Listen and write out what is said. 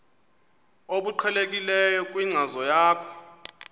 obuqhelekileyo kwinkcazo yakho